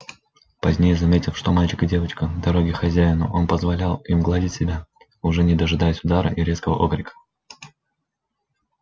позднее заметив что мальчик и девочка дороги хозяину он позволял им гладить себя уже не дожидаясь удара и резкого окрика